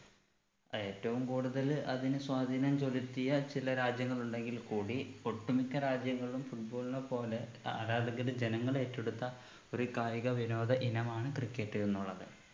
ഏറ്റവും കൂടുതല് അതിന് സ്വാധീനം ചെലുത്തിയ ചില രാജ്യങ്ങൾ ഉണ്ടെങ്കിൽ കൂടി ഒട്ടു മിക്ക രാജ്യങ്ങളിലും football നെ പോലെ ആരാധകര് ജനങ്ങളേറ്റെടുത്ത ഒരു കായിക വിനോദ ഇനമാണ് cricket എന്നുള്ളത്